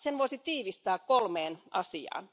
Sen voisi tiivistää kolmeen asiaan.